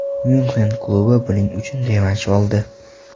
Myunxen klubi buning uchun revansh oldi.